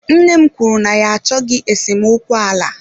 Nne m kwuru na ya achọghị esemokwu ala.